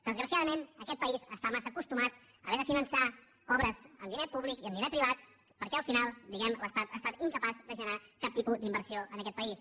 desgraciadament aquest país està massa acostumat a haver de finançar obres amb diner públic i amb diner privat perquè al final l’estat ha estat incapaç de generar cap tipus d’inversió en aquest país